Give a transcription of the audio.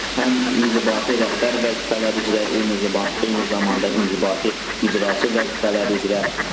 Həm inzibati rəhbər vəzifələr üzrə, eyni zamanda inzibati icraçı vəzifələri üzrə.